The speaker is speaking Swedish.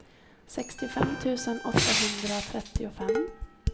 sextiofem tusen åttahundratrettiofem